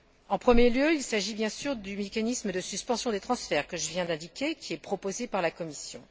En premier lieu, il s'agit bien sûr du mécanisme de suspension des transferts que je viens d'indiquer, qui est proposé par la Commission.